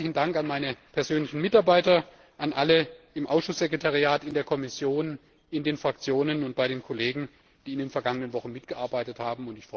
Deswegen herzlichen Dank an meine persönlichen Mitarbeiter, an alle im Ausschusssekretariat, in der Kommission, in den Fraktionen und bei den Kollegen, die in den vergangenen Wochen mitgearbeitet haben!